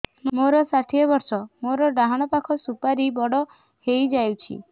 ମୋର ଷାଠିଏ ବର୍ଷ ମୋର ଡାହାଣ ପାଖ ସୁପାରୀ ବଡ ହୈ ଯାଇଛ